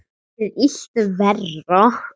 Gerir illt verra.